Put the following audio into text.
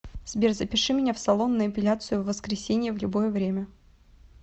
сбер запиши меня в салон на эпиляцию в воскресенье в любое время